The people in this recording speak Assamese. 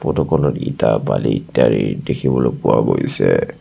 ফটোখনত ইটা বালি ইত্যাদি দেখিবলৈ পোৱা গৈছে।